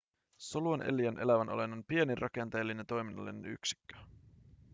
solu on eliön elävän olennon pienin rakenteellinen ja toiminnallinen yksikkö